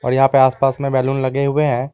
और यहां पे आस पास में बैलून लगे हुए हैं।